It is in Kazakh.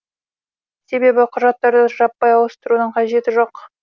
себебі құжаттарды жаппай ауыстырудың қажеті жоқ